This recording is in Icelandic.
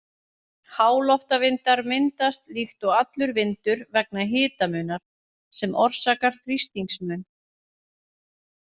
Háloftavindar myndast líkt og allur vindur vegna hitamunar, sem orsakar þrýstingsmun.